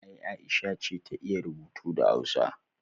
Ay aisha ta iya rubutu da hausa